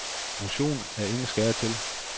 Motion er ingen skade til.